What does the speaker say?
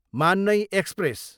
मान्नै एक्सप्रेस